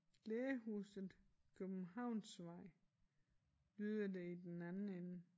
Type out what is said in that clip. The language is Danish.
Lægehuset Københavnsvej lyder det i den anden ende